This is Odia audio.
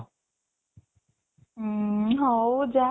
ଉଁ ହଉ ଯା